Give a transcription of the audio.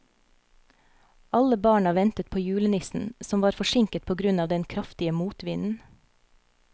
Alle barna ventet på julenissen, som var forsinket på grunn av den kraftige motvinden.